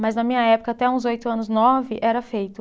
Mas na minha época, até uns oito anos, nove, era feito.